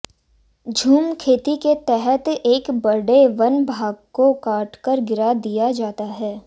झूम खेती के तहत एक बड़े वन भाग को काट कर गिरा दिया जाता है